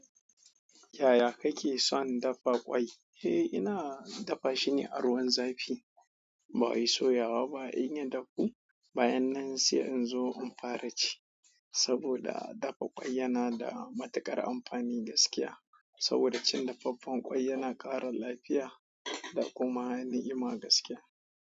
Yaya kake son dafa ƙwai? Eh, ina dafa shi ne a ruwan zafi. Ba in soyawa ba, in yi dafu bayan nan sai in zo in fara ci. Saboda dafa ƙwai yana da matuƙar amfani gaskiya. Saboda cin dafaffen ƙwai yana ƙara lafiya da kuma ni'ima gaskiya.